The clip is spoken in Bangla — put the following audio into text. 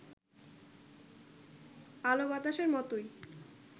আলোবাতাসের মতোই